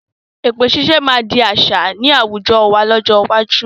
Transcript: Èpè ṣiṣẹ́ máa di àṣà ni àwùjọ wá lọ́jọ́ iwájú